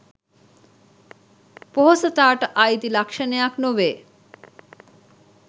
පොහොසතාට අයිති ලක්ෂණයක් නොවේ